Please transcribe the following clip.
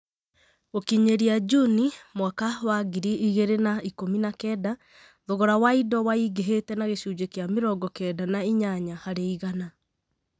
G?kiny? ria Juni mwaka wa ngiri ig?r? na ik?mi na kenda, thogora wa indo waing?h?te na g?cunj? k?a m?rongo kenda na inyanya har? igana.